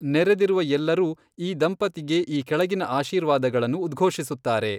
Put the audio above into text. ನೆರೆದಿರುವ ಎಲ್ಲರೂ ಈ ದಂಪತಿಗೆ ಈ ಕೆಳಗಿನ ಆಶೀರ್ವಾದಗಳನ್ನು ಉಧ್ಘೋಷಿಸುತ್ತಾರೆ.